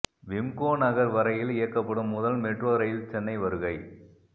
விம்கோ நகர் வரையில் இயக்கப்படும் முதல் மெட்ரோ ரயில் சென்னை வருகை